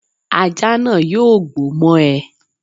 Ajá náà yóò gbó mọ́ ẹ